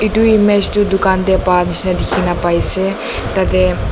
etu image toh dukan te pa nishe na dikhina pai ase tate